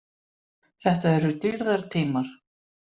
Þetta eru dýrðartímar.